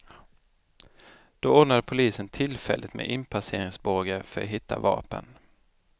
Då ordnade polisen tillfälligt med inpasseringsbågar för att hitta vapen.